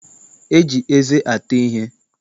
E ji eze ata ihe.